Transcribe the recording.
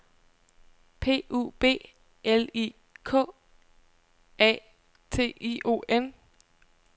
P U B L I K A T I O N